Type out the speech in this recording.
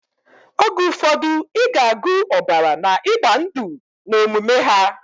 Oge ufodu iga agu obara na igba ndu na omume ha.